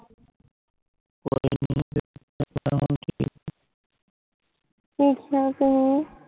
ਕਿਸ ਤਰਾਂ ਕਹੁ